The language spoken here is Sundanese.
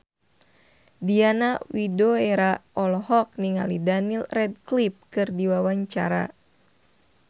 Diana Widoera olohok ningali Daniel Radcliffe keur diwawancara